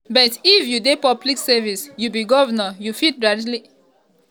"but if you dey public service you be govnor you fit directly affect five million pipo six million pipo" um ighodalo tok.